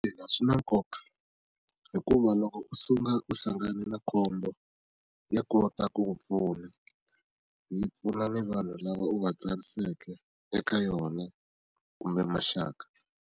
Ina, swi na nkoka hikuva loko u suka u hlangane na khombo ya kota ku ku pfuna, yi pfuna ni vanhu lava u va tsariseke eka yona kumbe maxaka.